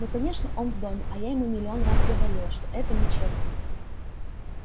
ну конечно он в доме а я ему миллион раз говорила что это нечестно